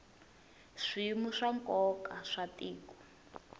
swiyimo swa nkoka swa tiko